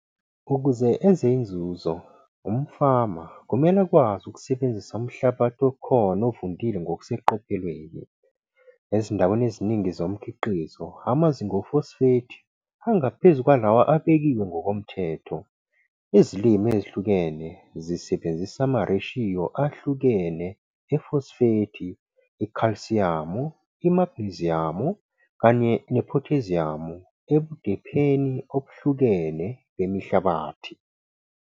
Ukuze enze inzuzo, umfama kumele akwazi ukusebenzisa umhlabathi okhona ovundile ngokuseqophelweni. Ezindaweni eziningi zomkhiqizo amazinga efosfethi angaphezu kwalawo abekiwe ngokomthetho. Izilimo ezihlukene zisebenzisa amareshiyo ahlukene efosfethi, ikhalsiyamu, imagneziyamu kanye nephotheziyamu ebudepheni obuhlukene bemihlabathi.